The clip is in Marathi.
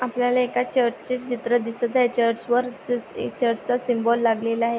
आपल्याला एका चर्च चे चित्र दिसत आहे. चर्च वर चस चर्च चा सिम्बॉल लागलेला आहे.